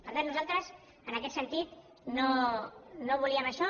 per tant nosaltres en aquest sentit no volíem això